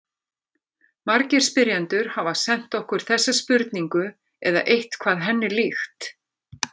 Margir spyrjendur hafa sent okkur þessa spurningu eða eitthvað henni líkt.